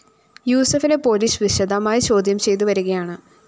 യൂസഫിനെ police വിശദമായി ചോദ്യം ചെയ്തു വരികയാണ്